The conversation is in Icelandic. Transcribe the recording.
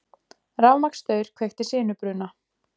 Rafmagnsstaur kveikti sinubruna